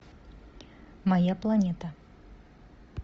моя планета